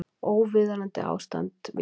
Óviðunandi ástand við íþróttavelli